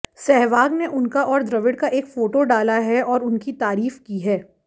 सहवाग ने उनका और द्रविड़ का एक फोटो डाला है और उनकी तारीफ की है